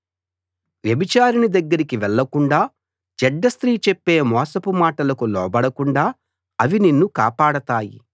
వ్యభిచారిణి దగ్గరికి వెళ్ళకుండా చెడ్డ స్త్రీ చెప్పే మోసపు మాటలకు లోబడకుండా అవి నిన్ను కాపాడతాయి